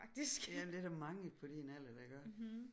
Jamen det er der mange på din alder der gør